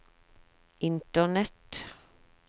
internett